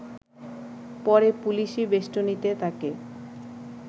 পরে পুলিশি বেস্টনীতে তাকে